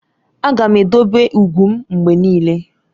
Aga m edobe ugwu m mgbe niile.